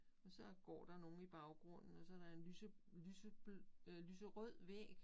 Og så går der nogen i baggrunden og så der en øh lyserød væg